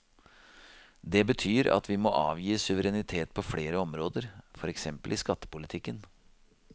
Det betyr at vi må avgi suverenitet på flere områder, for eksempel i skattepolitikken.